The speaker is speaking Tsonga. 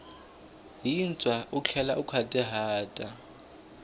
yintshwa u tlhela u nkhwatihata